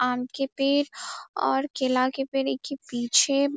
आम के पेड़ और केला के पेड़ ईके पीछे --